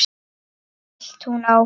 hélt hún áfram.